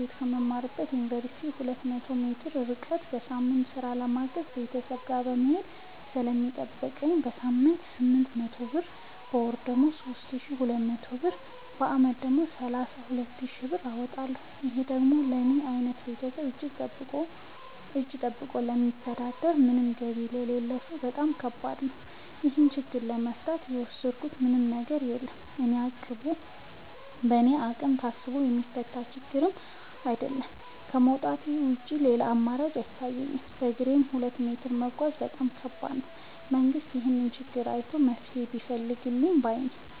ቤት ከምማርበት ዮንቨርሲቲ ሁለት መቶ ሜትር ይርቃል። በየሳምቱ ስራ ለማገዝ ቤተሰብ ጋር መሄድ ስለሚጠቅብኝ በሳምንት ስምንት መቶ ብር በወር ደግሞ ሶስት ሺ ሁለት መቶ ብር በአመት ደግሞ ሰላሳ ሁለት ሺ ብር አወጣለሁ ይህ ደግሞ ለኔ አይነቱ ከቤተሰብ እጂ ጠብቆ ለሚተዳደር ምንም ገቢ ለሌለው ሰው በጣም ከባድ ነው። ይህን ችግር ለመፍታት የወሰድኩት ምንም ነገር የለም በእኔ አቅም ታስቦ የሚፈታ ችግርም አይደለም ከማውጣት ውጪ ሌላ አማራጭ አይታየኝም በግሬም ሁለት መቶ ሜትር መጓዝ በጣም ከባድ ነው። መንግስት ይህንን ችግር አይቶ መፍትሔ ቢፈልግልን ባይነኝ።